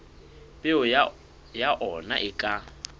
peo ya ona e ka